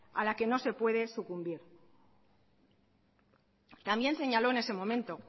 a la que no se puede sucumbir también señaló en ese momento